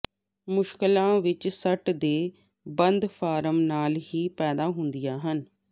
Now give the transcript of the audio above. ਮੁਸ਼ਕਲਾਂ ਇਸ ਸੱਟ ਦੇ ਬੰਦ ਫਾਰਮ ਨਾਲ ਹੀ ਪੈਦਾ ਹੁੰਦੀਆਂ ਹਨ